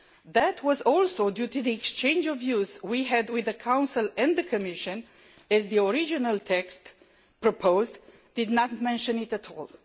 This was due to the exchange of views we had with the Council and the Commission, as the original text proposed did not mention it at all.